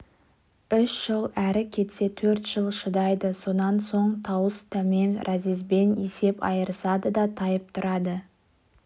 үш жыл әрі кетсе төрт жыл шыдайды содан соң тауыс-тәмем разъезбен есеп айырысады да тайып тұрады